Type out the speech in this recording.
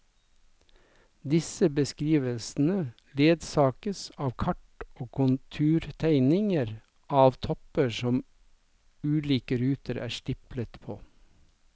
Disse beskrivelsene ledsages av kart og konturtegninger av topper som ulike ruter er stiplet på.